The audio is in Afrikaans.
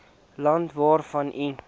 land waarvan u